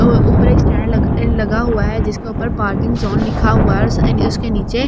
अ ऊपर एक स्टैन्ड लग लगा हुआ है जिसके ऊपर पार्किंग ज़ोन लिखा हुआ है उसके नीचे --